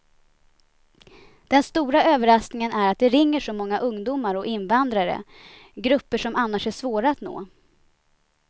Den stora överraskningen är att det ringer så många ungdomar och invandrare, grupper som annars är svåra att nå.